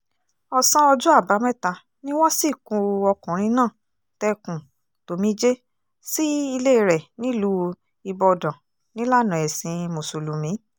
ọ̀sán ọjọ́ àbámẹ́ta ni wọ́n sìnkú ọkùnrin náà tẹkùn-tòmijé sí ilé rẹ̀ nílùú ibodàn nílànà ẹ̀sìn mùsùlùmí